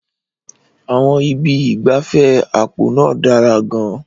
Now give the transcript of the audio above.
Àwọn ibi ìgbafẹ́ àpò náà dára gan-an.